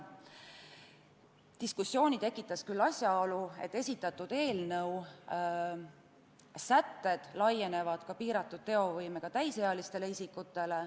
Diskussiooni tekitas aga asjaolu, et esitatud eelnõu sätted laienevad ka piiratud teovõimega täisealistele isikutele.